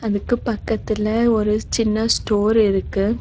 இதுக்கு பக்கத்துல ஒரு சின்ன ஸ்டோர் இருக்கு.